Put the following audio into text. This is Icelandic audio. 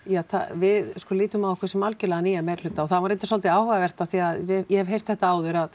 við lítum á okkur sem algjörlega nýjann meiri hluta það var reyndar svolítið áhugavert því ég hef heyrt þetta áður að